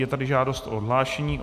Je tady žádost o odhlášení.